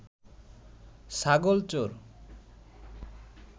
ছাগল চোর